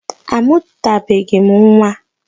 A mụtabeghị m nwa.